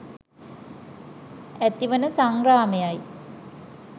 ඇතිවන සංග්‍රාමය යි.